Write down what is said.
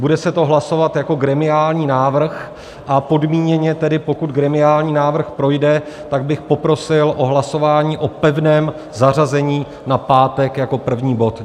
Bude se to hlasovat jako gremiální návrh, a podmíněně tedy, pokud gremiální návrh projde, tak bych poprosil o hlasování o pevném zařazení na pátek jako první bod.